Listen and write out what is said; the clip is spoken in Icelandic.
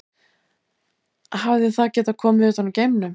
Hefði það getað komið utan úr geimnum?